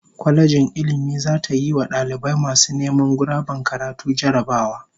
Kwalejin Ilmin zata yiwa dalibai masu neman guraben karatu jarrabawa